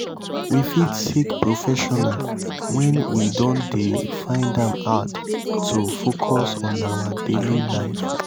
we fit seek professional when we don dey find am hard to focus on our daily life